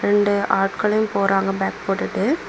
ரெண்டு ஆட்களும் போறாங்க பேக் போட்டுட்டு.